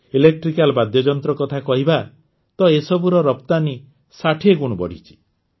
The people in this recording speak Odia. ଇଲେକ୍ଟ୍ରିକାଲ୍ ବାଦ୍ୟଯନ୍ତ୍ର କଥା କହିବା ତ ଏସବୁର ରପ୍ତାନି ୬୦ ଗୁଣ ବଢ଼ିଛି